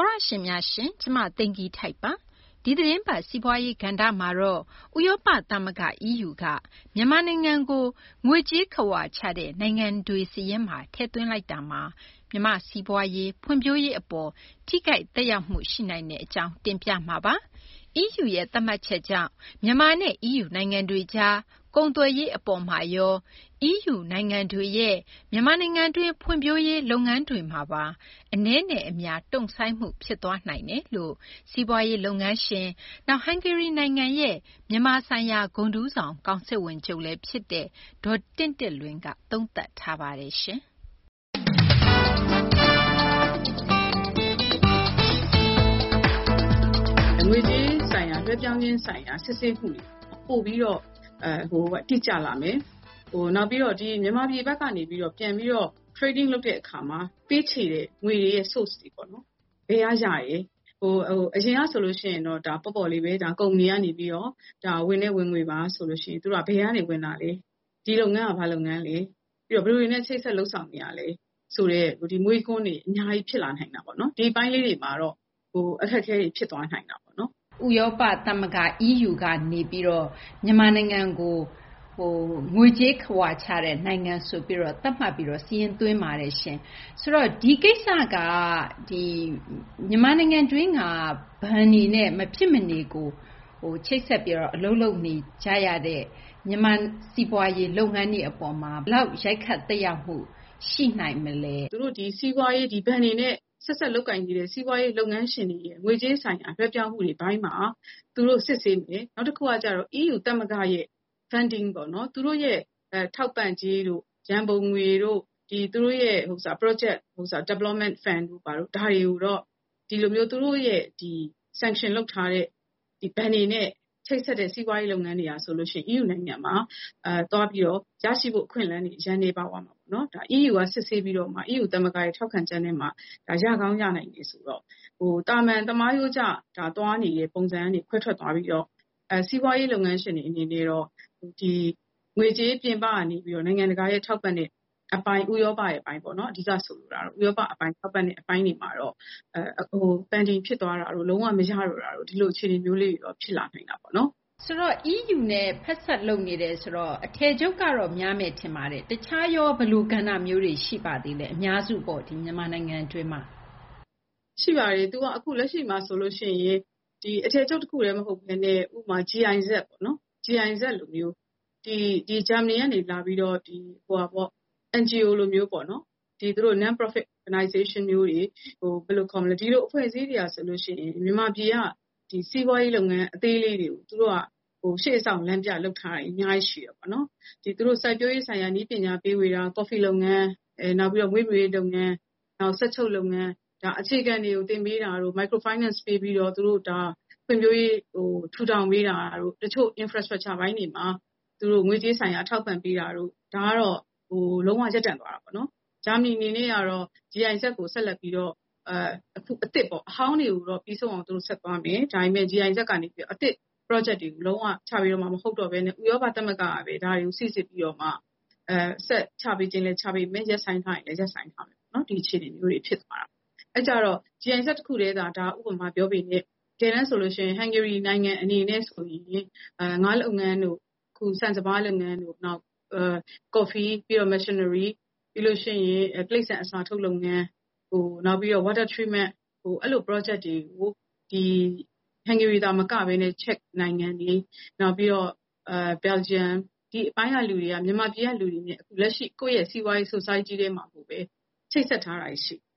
ောတရှင်များရှင် ကျမ သိဂီ ၤထိုက်ပါ။ ဒီ သီတင်းပတ် စီးပွားရေး ကဏ္ဍမှာတော့ ဥရောပ သမဂ္ဂ EU က မြန်မာနိုင်ငံကို ငွေကြေးခဝါချတဲ့ နိုင်ငံများစာရင်းမှာ ထည့်သွင်းလိုက်တာမှာ မြန်မာ့ စီးပွားရေး ၊ ဖွံ့ဖြိုးရေး အပေါ်မှာ ထိခိုက်သက်ရောက်မှု ရှိနိုင်တဲ့ အကြောင်း တင်ပြပေးမှာပါ။ EU ရဲ့ သတ်မှတ်ချက်ကြောင့် မြန်မာနဲ့ EU နိုင်ငံတွေကြား ကုန်သွယ်ရေး အပေါ်မှာရော EU နိုင်ငံတွေရဲ့ မြန်မာနိုင်ငံတွင်း ဖွံ့ဖြိုးရေး လုပ်ငန်းတွေမှာပါ အနည်းနဲ့ အများ တုံ့ဆိုင်းမှု ဖြစ်သွားနိုင်ကြောင်း စီးပွားရေး လုပ်ငန်းရှင်၊ နောက် ဟန်ဂေရီ နိုင်ငံရဲ့ မြန်မာဆိုင်ရာ ဂုဏ်ထူးဆောင် ကောင်စစ်ဝန်ချုပ်လည်း ဖြစ်တဲ့ ဒေါ်တင့်တင့်လွင်က သုံးသပ်ပါတယ်။ ငွေကြေးလွှဲပြောင်းခြင်း ဆိုင်ရာ စစ်ဆေးမှုတွေ ပိုပြီးတော့ တိကျလာမယ်။ နောက် မြန်မာပြည်က ပြန်ပြီးတော့ ကုန်သွယ်ရေး လုပ်တဲ့ အခါမှာ ပေးချေတဲ့ ငွေရဲ့ အရင်းအမြစ် ပေါ့နော် ဘယ်ကရတယ်၊ အရင်ကဆိုရင်တော့ ပေါ့ပေါ့လေးဘဲ ဒါ ကုမ္ပဏီက နေပြီးတော့ ဝင်တဲ့ ဝင်ငွေပါ ဆိုရင် သူတို့က ဘယ်ကနေ ဝင်တာလဲ၊ ဒီလုပ်ငန်းက ဘာလုပ်ငန်းလဲ၊ ပြီးတော့ ဘယ်သူတွေနဲ့ ချိတ်ဆက် လုပ်ဆောင်နေတာလဲ ဆိုတဲ့ ဒီမေးခွန်းတွေ အများကြီး ဖြစ်လာနိုင်တာပေါ့နော်။ ဒီအပိုင်းလေးတွေမှာတော့ အခက်အခဲလေးတွေ ဖြစ်သွားနိုင်တာပေါ့။ ဥရောပ သမဂ္ဂ EU က မြန်မာနိုင်ငံကို ငွေကြေးခဝါချတဲ့ နိုင်ငံ ဆိုပြီးတော့ သတ်မှတ်ပြီးတော့ စာရင်းသွင်းပါတယ်။ ဆိုတော့ ဒီကိစ္စက မြန်မာနိုင်ငံတွင်းက ဘဏ်တွေနဲ့ မဖြစ်မနေ ချိတ်ဆက်ပြီး အလုပ်လုပ်နေရတဲ့ စီးပွားရေး လုပ်ငန်းတွေ အပေါ်မှာ ဘယ်လောက် ရိုက်ခတ် သက်ရောက်မှု ရှိနိုင်မလဲ။ ဒီဘဏ်တွေနဲ့ ဆက်စပ် လုပ်ကိုင်နေတဲ့ စီးပွားရေးလုပ်ငန်းရှင်တွေရဲ့ ငွေကြေးဆိုင်ရာ လွှဲပြောင်းမှုတွေ အပိုင်းမှာ သူတို့ စစ်ဆေးမယ်။ နောက်တခုက ကျတော့ EU ရဲ့ Funding ပေါ့နော် သူတို့ရဲ့ ထောက်ပံ့ကြေးတို့ ရန်ပုံငွေတို့ သူတို့ရဲ့ စီမံကိန်း ဖွံ့ဖြိုးရေး ရန်ပုံငွေတို့ ဒါတွေကိုတော့ သူတို့ Sanction လုပ်ထားတဲ့ ဘဏ်တွေနဲ့ ချိတ်ဆက်တဲ့ စီးပွားရေး လုပ်ငန်းတွေဟာ ဆိုရင် ရရှိဖို့ အခွင့်အလမ်း နည်းသွား ပါမယ်။ ဒါ EU က စစ်ဆေးပြီးတော့မှ EU ရဲ့ ထောက်ခံချက်နဲ့မှ ရကောင်းရနိုင်တယ်ဆိုတော့ သာမန် သမားရိုးကျ သွားနေတဲ့ ပုံစံကနေ ခွဲထွက်သွားပြီးတော့ စီးပွားရေး လုပ်ငန်းရှင်တွေ အနေနဲ့တော့ ငွေကြေး ပြင်ပက နေပြီးတော့ နိုင်ငံတကာရဲ့ ထောက်ပံ့တဲ့ အပိုင်း ဥရောပရဲ့ အပိုင်းပေါ့နော် အဓိက ဆိုလိုတာကတော့ ဥရောပ အပိုင်းမှာတော့ ဆိုင်းငံ့သွားတာတို့ လုံး၀ မရတော့တာတို့ ဒီလို အခြေအနေမျိုးလေးတွေတော့ ဖြစ်လာနိုင်တာပေါ့။ ဆိုတော့ EU နဲ့ ဆက်စပ် လုပ်ကိုင်နေတယ် ဆိုတော့ အထည်ချုပ်ကတော့ များမယ် ထင်ပါတယ်။ တခြားရော ဘယ်လို ကဏ္ဍမျိုးတွေ ရှိပါသေးလဲ အများစုပေါ့ မြန်မာနိုင်ငံတွင်းမှာ။ ရှိပါတယ်။ သူက လက်ရှိမှာ ဆိုလို့ ရှိရင် ဒီ အထည်ချုပ် တခုတည်း မဟုတ်ဘဲနဲ့ ဥပမာ GIZ ပေါ့နော်။ GIZ လိုမျိုး ဂျာမနီကနေ လာပြီးတော့ NGO လိုမျိုးပေါ့နော်။ ဒီလို အဖွဲ့အစည်းမျိုးတွေဟာ ဆိုလို့ ရှိရင် မြန်မာပြည်က စီးပွားရေး လုပ်ငန်း အသေးလေးတွေကို သူတို့က ရှေ့ဆောင် လမ်းပြ လုပ်ထားတာတွေ အများကြီး ရှိတယ်ပေါ့နော်။ စိုက်ပျိုးရေး ဆိုင်ရာ နည်းပညာ ဖြန့်ဝေတာ၊ ကော်ဖီ လုပ်ငန်း၊ နောက်ပြီးတော့ မွေးမြူရေး လုပ်ငန်း၊ စက်ချုပ်လုပ်ငန်း၊ အခြေခံတွေကို သင်ပေးတာတို့ အသေးစား ချေးငွေပေးပြီး သူတို့ ဖွံ့ဖြိုးရေးကို ထူထောင်ပေးတာတို့၊ တချို့ အခြေခံ အဆောက်အဦ ပိုင်းတွေမှာ ငွေကြေး ထောက်ပံ့ပေးတာတို့ ဒါကတော့ လုံး၀ ရပ်တန့်သွားတာပေါ့နော်။ ဂျာမနီ အနေနဲ့တော့ GIZ ကို ဆက်လက်ပြီးတော့ အခု အသစ်ပေါ့။ အဟောင်းတွေကိုတော့ ပြီးဆုံးအောင် သူတု့ိ ဆက်သွားမယ်။ ဒါပေမယ့် GIZ ကနေ စီမံကိန်း အသစ်တွေ လုံး၀ ချပေးတော့မှာ မဟုတ်တော့ဘဲနဲ့ ဥရောပ သမဂ္ဂ ကဘဲ ဒါတွေကို စိစစ်ပြီးတော့မှ ဆက်ချပေးချင်လည်း ချပေးမယ်။ ရပ်ဆိုင်းထားချင်လည်း ရပ်ဆိုင်းထားမယ်ပေါ့နော်။ ဒီ အခြေအနေမျိုးတွေ ဖြစ်သွားတာပေါ့။ အဲတော့ GIZ တခုတည်းသာ ဒါ ဥပမာ အနေနဲ့ ပြောပေမယ့် တကယ်တန်း ဆိုရင် ဟန်ဂေရီ နိုင်ငံ အနေနဲ့ဆိုရင် ငါးလုပ်ငန်းတို့ ၊ အခု ဆန်စပါး လုပ်ငန်းတို့၊ ကော်ဖီ နောက် တိရိစ္ဆာန် အစာထုတ် လုပ်ငန်း၊ နောက် Water Treatment အဲလို စီမံကိန်းတွေကို ဟန်ဂေရီ သာမက ချက်၊ ဘယ်လ်ဂျီယံ ဒီအပိုင်းက လူတွေက မြန်မာပြည်က လူတွေနဲ့ လက်ရှိ အခု ကိုယ့်ရဲ့ စီးပွားရေး အသိုင်းအဝိုင်းထဲမှာကိုဘဲ ချိတ်ဆက်ထားတာတွေ ရှိတယ်။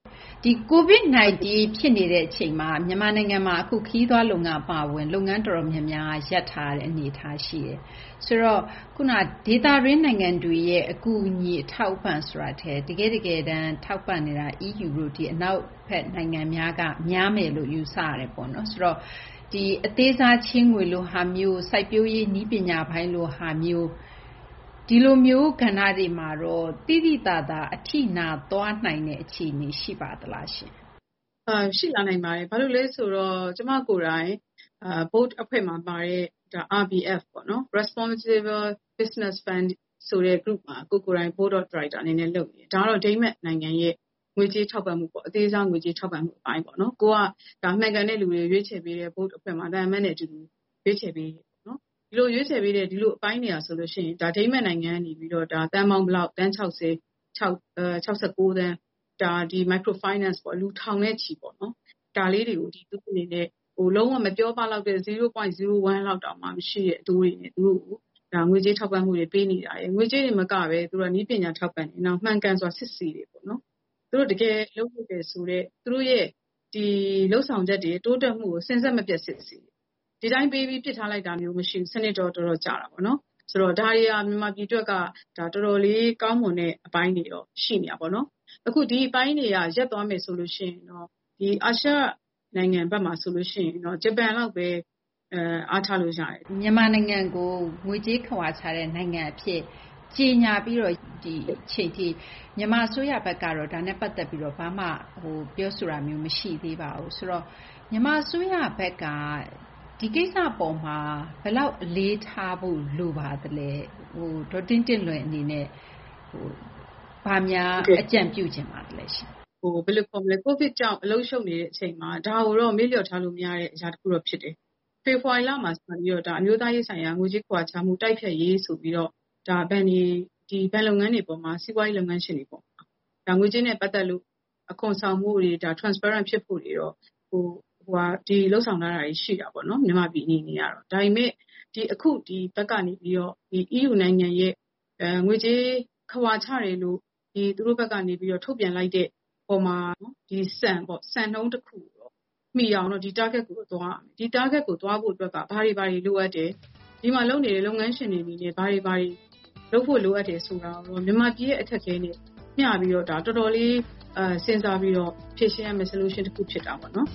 ဒီ COVID -19 ဖြစ်နေတဲ့ အချိန်မှာ မြန်မာနိုင်ငံမှာ အခု ခရီးသွား လုပ်ငန်း အပါအဝင် လုပ်ငန်း တော်တော်များများ ရပ်ထားရတဲ့ အနေအထား ရှိတယ်။ ဆိုတော့ ဒေသတွင်း နိုင်ငံတွေရဲ့ အကူအညီ အထောက်အပံ့ ဆိုတာထက် တကယ့် တကယ်တန်း ထောက်ပံ့နေတာ EU တို့လို အနောက်ဘက် နိုင်ငံများက များမယ်လို့ ယူဆရတယ်ပေါ့နော်။ ဒီ အသေးစား ချေးငွေလိုဟာမျိုး၊ စိုက်ပျိုးရေး နည်းပညာပိုင်းလို ဟာမျိုး ဒီလိုမျိုး ကဏ္ဍတွေမှာရော သိသိသာသာ အထိနာသွားနိုင်တဲ့ အခြေအနေ ရှိပါသလား။ ရှိလာနိုင်ပါတယ်။ ဘာလို့လည်း ဆိုတော့ ကျမ ကိုယ်တိုင် ဘုတ်အဖွဲ့မှာ ပါတဲ့ RBF ပေါ့နော် Responsibel Business Fund ဆိုတဲ့ အဖွဲ့မှာ ကိုယ်ကိုယ်တိုင် Board of Director အနေနဲ့ လုပ်နေတယ်။ ဒါကတော့ ဒိန်းမတ် နိုင်ငံရဲ့ ငွေကြေး ထောက်ပံ့မှု ပေါ့နော်။ အသေးစား ငွေကြေး ထောက်ပံ့မှုပိုင်းပေါ့။ ကိုယ်က မှန်ကန်တဲ့ လူတွေ ရွေးချယ်ပေးတဲ့ Board အဖွဲ့မှာ သံအမတ်ကြီးနဲ့ အတူတူ ရွေးချယ်ပေးတာပေါ့နော်။ ဒီလို ရွေးချယ်ပေးတဲ့ ဒီလို အပိုင်းတွေဟာဆိုရင် ဒိန်းမတ် နိုင်ငံကနေ သန်း ၆၀- ၆၉ သန်း ဒါ အသေးစား ချေးငွေပေါ့။ လူ ထောင်နဲ့ချီပေါ့နော်။ ဒါလေးတွေကို လုံး၀ မပြောပလောက်တဲ့ အတိုးနှုန်းနဲ့ ငွေကြေး ထောက်ပံ့မှု ပေးတာ ၊ ငွေကြေးတင် မကဘဲ နည်းပညာ ထောက်ပံ့တာ။ မှန်ကန်စွာစစ်ဆေးတယ် ပေါ့နော်။ သူတို့ရဲ့ လုပ်ဆောင်မှုတွေ တိုးတက်မှုတွေကို စဉ်ဆက် မပြတ် စစ်တယ်။ ဒီတိုင်း ပေးပြီး ပစ်ထားလိုက်တာမျိုး မရှိဘူး စနစ်တော့ တော်တော် ကျတာပေါ့နော်။ ဒါတွေဟာ မြန်မာပြည် အတွက်က တော်တော်လေး ကောင်းမွန်တဲ့ အပိုင်းတွေတော့ ရှိနေတာပေါ့နော်။ အခု ဒီအပိုင်းတွေသာ ရပ်သွားမယ် ဆိုရင် အာရှ နိုင်ငံဘက်မှာ ဂျပန်လောက်ဘဲ အားထားလို့ ရတယ်။ မြန်မာနိုင်ငံကို ငွေကြေးခဝါချတဲ့ နိုင်ငံ အဖြစ် ကြေညာပြီးတော့ ဒီအချိန်ထိ မြန်မာ အစိုးရဘက်ကတော့ ဒါနဲ့ ပတ်သက်ပြီး ဘာမှ ပြောဆိုတာမျိုး မရှိသေးပါဘူး။ ဆိုတော့ မြန်မာ အစိုးရဘက်က ဒီကိစ္စ အပေါ်မှာ ဘယ်လောက် အလေးထားဖို့ လိုပါသလဲ။ ဒေါ်တင့်တင့်လွင် အနေနဲ့ ဘာများ အကြံပြုလိုပါသလဲ။ COVID ကြောင့် အလုပ်ရှုပ်နေတဲ့ အချိန်မှာ ဒါကိုတော့ မေ့ပျောက်ထားလို့ မရတဲ့ အရာ တခုတော့ ဖြစ်တယ်။ ဖေဖော်ဝါရီလမှာ စပြီးတော့ ဒါ အမျိုးသားရေး ဆိုင်ရာ ငွေကြေးခဝါချမှု တိုက်ဖျက်ရေး ဆိုပြီး ဘဏ်လုပ်ငန်းတွေ အပေါ်မှာ စီးပွားရေး လုပ်ငန်းရှင်တွေပေါ့ ဒါ ငွေကြေးနဲ့ ပတ်သက်ပြီး အခွန်ဆောင်မှုတွေ ပွင့်လင်းမြင်သာမှု ရှိမှုတွေတော့ လုပ်ဆောင်ထားတာတွေ ရှိတာပေါ့နော် မြန်မာပြည် အနေနဲ့ကတော့။ ဒါပေမယ့် အခု ဒီဘက်ကနေ ပြီးတော့ EU ရဲ့ ငွေကြေး ခဝါချတယ်လို့ သူတို့ဘက်ကနေ ထုတ်ပြန်လိုက်တဲ့ အပေါ်မှာ ဒီ စံပေါ့ စံနှုန်း တခုမီအောင်တော့ ဒီ Target ကို သွားရမယ်။ ဒီ Target ကို သွားဖို့က ဘာတွေ ဘာတွေ လိုအပ်တယ်။ ဒီမှာ လုပ်နေတဲ့ လုပ်ငန်းရှင်တွေ အနေနဲ့ ဘာတွေ ဘာတွေ လုပ်ဖို့ လိုအပ်တယ် ဆိုတာကိုတော့ မြန်မာပြည်ရဲ့ အခက်အခဲနဲ့ မျှပြီးတော့ ဒါ တော်တော်လေး စဉ်းစားပြီးတော့ ဖြေရှင်းရမယ့် ကိစ္စတော့ ဖြစ်တာပေါ့နော်။